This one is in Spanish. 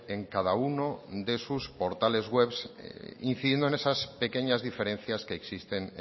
en cada uno de sus portales webs incidiendo en esas pequeñas diferencias que existen